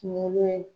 Kungolo in